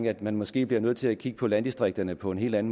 at man måske bliver nødt til at kigge på landdistrikterne på en helt